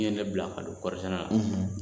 Min ye ne bila ka don kɔɔri sɛnɛ la